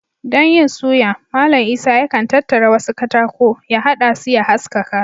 Don yin suya, Mallam Isah yakan tattara wasu katako, ya haɗa su ya haskaka